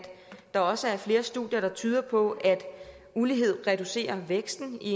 der også er flere studier der tyder på at ulighed reducerer væksten i